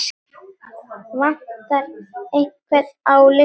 Vantar einhvern á listann?